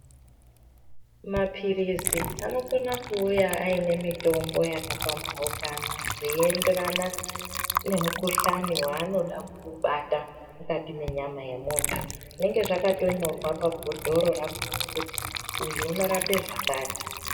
Maphilizi anokona kuuya aine mitombo yakapambaukana zveienderana nemukuhlani waanoda kubata mukati menyama yemuntu. Zvinenge zvakatonyorwa pabhodhoro rakona kuti uyu unorape zvakati.